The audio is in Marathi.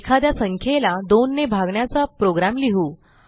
एखाद्या संख्येला 2 ने भागण्याचा प्रोग्रॅम लिहू